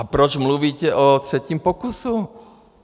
A proč mluvíte o třetím pokusu?